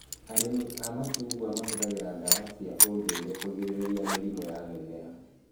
Arĩmi a macungwa mahũthagĩra ndawa cia ũndũire kũgirĩrĩria mĩrimũ ya mĩmera